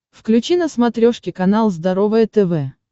включи на смотрешке канал здоровое тв